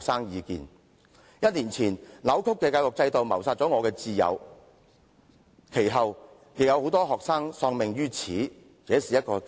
"一年前，這個扭曲的教育制度謀殺了我的摰友，其後也陸續有學生因此而喪命。